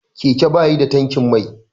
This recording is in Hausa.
Keke ba yi da tankin mai.